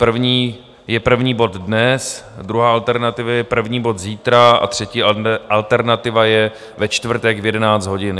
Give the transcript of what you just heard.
První je první bod dnes, druhá alternativa je první bod zítra a třetí alternativa je ve čtvrtek v 11 hodin.